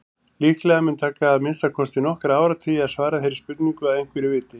Líklega mun taka að minnsta kosti nokkra áratugi að svara þeirri spurningu að einhverju viti.